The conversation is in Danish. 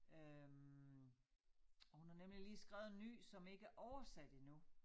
Øh og hun har nemlig lige skrevet en ny som ikke er oversat endnu